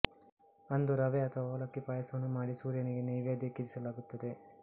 ಅಂದು ರವೆ ಅಥವಾ ಅವಲಕ್ಕಿಯ ಪಾಯಸವನ್ನು ಮಾಡಿ ಸೂರ್ಯನಿಗೆ ನೈವೇದ್ಯಕ್ಕಿರಿಸಲಾಗುತ್ತದೆ